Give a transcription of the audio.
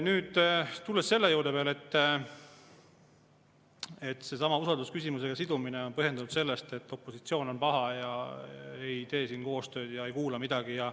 Nüüd, tulen veel selle juurde, et usaldusküsimusega sidumine on põhjendatud sellega, et opositsioon on paha, ei tee siin koostööd ega kuula midagi.